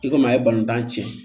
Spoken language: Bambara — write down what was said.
I komi a ye balontan tiɲɛ